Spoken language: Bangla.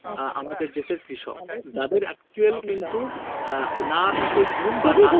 আহ আমাদের দেশের কৃষক যাদের actual কিন্তু আহ না থাকে ঘুম বা না